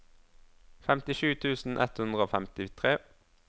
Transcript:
femtisju tusen ett hundre og femtitre